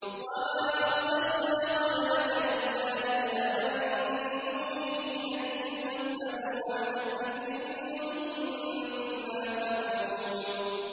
وَمَا أَرْسَلْنَا قَبْلَكَ إِلَّا رِجَالًا نُّوحِي إِلَيْهِمْ ۖ فَاسْأَلُوا أَهْلَ الذِّكْرِ إِن كُنتُمْ لَا تَعْلَمُونَ